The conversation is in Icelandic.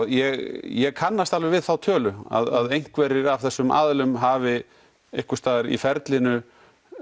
ég kannast alveg við þá tölu að einhverjir af þessum aðilum hafi einhvers staðar í ferlinu